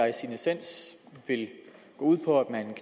i sin essens går ud på at man